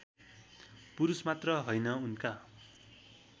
पुरुषमात्र हैन उनका